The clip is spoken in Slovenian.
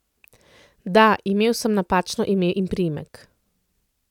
Da, imel sem napačno ime in priimek.